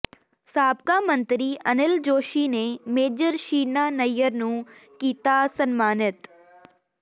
ਸਾਬਕਾ ਮੰਤਰੀ ਅਨਿਲ ਜੋਸ਼ੀ ਨੇ ਮੇਜਰ ਸ਼ੀਨਾ ਨਈਅਰ ਨੂੰ ਕੀਤਾ ਸਨਮਾਨਿਤ